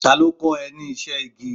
Ta ló kọ́ ẹ ní iṣẹ́ igi.?